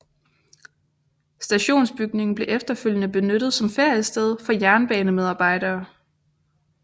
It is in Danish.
Stationsbygningen blev efterfølgende benyttet som feriested for jernbanemedarbejdere